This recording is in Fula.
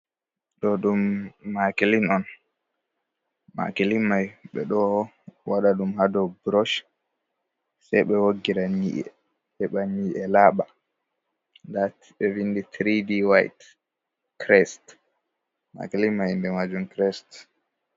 Ɗo ɗum makilin'on, makili mai ɓe ɗo waɗa ɗum ha dou burush sei be woggira nyi'ee, heɓa nyi'e Laɓa. Nda ɓewindi tiri D y tres makilin man indemai tires.